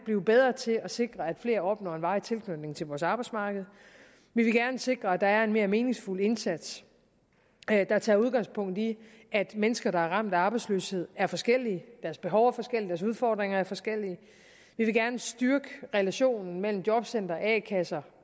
blive bedre til at sikre at flere opnår en varig tilknytning til vores arbejdsmarked vi vil gerne sikre at der er en mere meningsfuld indsats der tager udgangspunkt i at mennesker der er ramt af arbejdsløshed er forskellige deres behov er forskellige deres udfordringer er forskellige vi vil gerne styrke relationen mellem jobcentre og a kasser